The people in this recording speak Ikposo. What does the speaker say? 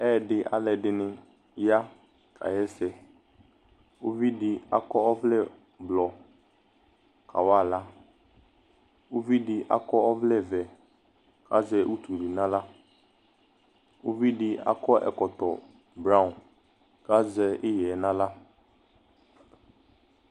Ɛyɛdɩ alʋɛdɩnɩ ya kaɣa ɛsɛ Uvi dɩ akɔ ɔvlɛblɔ kawa aɣla Uvi dɩ akɔ ɔvlɛvɛ kʋ azɛ utu dɩ nʋ aɣla Uvi dɩ akɔ ɛkɔtɔ braɔn kʋ azɛ ɩɣɛ nʋ aɣla